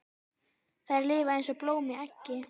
Þær lifa eins og blóm í eggi.